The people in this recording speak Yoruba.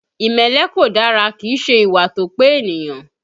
Ìmẹ́lẹ́ kò dára, kìí ṣe ìwà tó pé ènìyàn